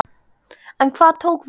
En hvað tók við?